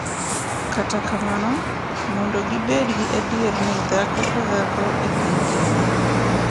Kata kamano, mondo gibed gi adier ni dhako ka dhako e piny Kenya .